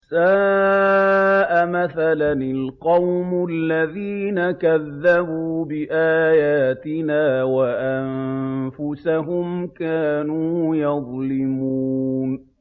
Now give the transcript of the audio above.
سَاءَ مَثَلًا الْقَوْمُ الَّذِينَ كَذَّبُوا بِآيَاتِنَا وَأَنفُسَهُمْ كَانُوا يَظْلِمُونَ